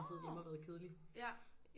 Nå ja